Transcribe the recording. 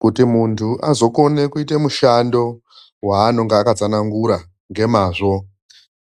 Kuti muntu azokona kuita mushando waanonga akasanangura ngemazvo,